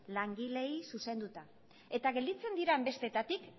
langileei zuzenduta eta gelditzen diren besteetatik